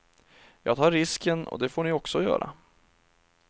Jag tar risken och det får ni också göra.